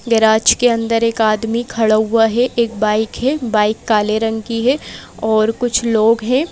Garage के अंदर एक आदमी खड़ा हुआ है। एक बाइक है। बाइक काले रंग की है और कुछ लोग हैं।